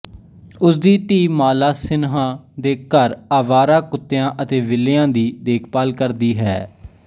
ਉਸਦੀ ਧੀ ਮਾਲਾ ਸਿਨਹਾ ਦੇ ਘਰ ਆਵਾਰਾ ਕੁੱਤਿਆਂ ਅਤੇ ਬਿੱਲੀਆਂ ਦੀ ਦੇਖਭਾਲ ਕਰਦੀ ਹੈ